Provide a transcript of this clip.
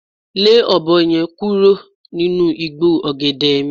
Le ọ̀bọ ye̩n kúrò nínú igbó ò̩gè̩dè̩ mi